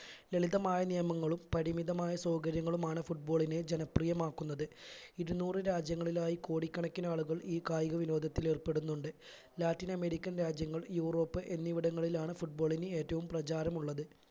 ലളിതമായ നിയമങ്ങളും പരിമിതമായ സൗകര്യങ്ങളുമാണ് football നെ ജനപ്രിയമാക്കുന്നത് ഇരുന്നൂർ രാജ്യങ്ങളിലായി കോടിക്കണക്കിനാളുകൾ ഈ കായിക വിനോദത്തിലേർപ്പെടുന്നുണ്ട് ലാറ്റിൻ അമേരിക്കൻ രാജ്യങ്ങൾ യൂറോപ്പ് എന്നിവിടങ്ങളിലാണ് football ന് ഏറ്റവും പ്രചാരം ഉള്ളത്